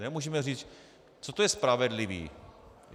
Nemůžeme říct, co to je spravedlivý.